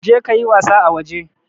Je ka ka yi wasa a waje!